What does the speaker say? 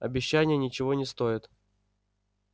обещания ничего не стоят